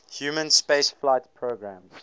human spaceflight programmes